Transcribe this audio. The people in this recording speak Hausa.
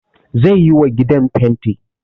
Ze yiwa gidan fenti